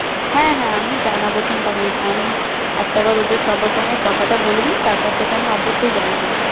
হ্যাঁ হ্যাঁ আমি জানাবো, চিন্তা করিস না। আমি একটাবার ওদের সবার সঙ্গে কথাটা বলে নিই তারপর, তোকে আমি অবশ্যই জানাবো।